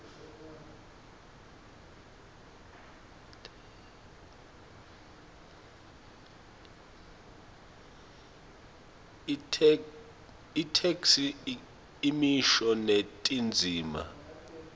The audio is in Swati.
itheksthi imisho netindzima